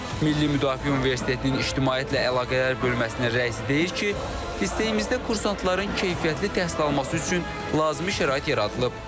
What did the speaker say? Milli Müdafiə Universitetinin İctimaiyyətlə əlaqələr bölməsinin rəisi deyir ki, liseyimizdə kursantların keyfiyyətli təhsil alması üçün lazımi şərait yaradılıb.